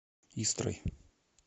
истрой